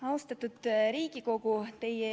Austatud Riigikogu!